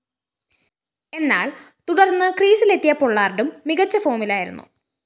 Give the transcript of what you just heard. എന്നാല്‍ തുടര്‍ന്ന് ക്രീസിലെത്തിയ പൊള്ളാര്‍ഡും മികച്ച ഫോമിലായിരുന്നു